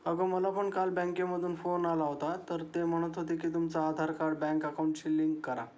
अग मला पण काल बँके मधून फोन आला होता तर ते म्हणत होते कि तुमचं आधार कार्ड बँक अकॉउंट शी लिंक करा